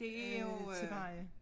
Øh til veje